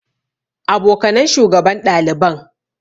Abokanan shugaban ɗaliban.